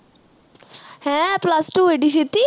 ਹੈ plus two ਏਡੀ ਛੇਤੀ